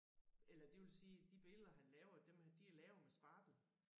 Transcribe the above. Eller det vil sige de billeder han laver dem de er lavet med spartel